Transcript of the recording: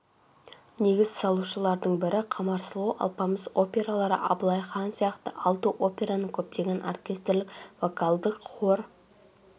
негіз салушылардың бірі қамар сұлу алпамыс опералары абылай хан сияқты алты операның көптеген оркестрлік вокалдық-хор